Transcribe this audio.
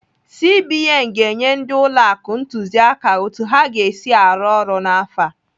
CBN ga-enye ndị ụlọ akụ ntụziaka otu ha ga-esi arụ ọrụ n'afọ a.